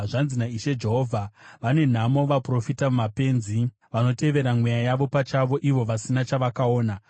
Zvanzi naIshe Jehovha: Vane nhamo vaprofita mapenzi vanotevera mweya yavo pachavo ivo vasina chavakaona!